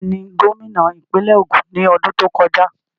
Tani gómìnà ìpínlẹ̀ Ògùn ní ọdún tó kọjá?